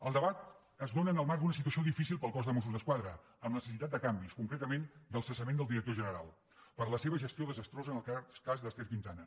el debat es dóna en el marc d’una situació difícil per al cos de mossos d’esquadra amb necessitat de canvis concretament del cessament del director general per la seva gestió desastrosa en el cas d’ester quintana